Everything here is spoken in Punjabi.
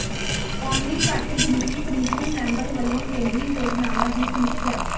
ਕੌਮੀ ਘੱਟ ਗਿਣਤੀ ਕਮਿਸ਼ਨ ਮੈਂਬਰ ਵੱਲੋਂ ਕੇਂਦਰੀ ਯੋਜਨਾਵਾਂ ਦੀ ਸਮੀਖਿਆ